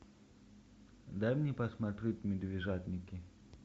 дай мне посмотреть медвежатники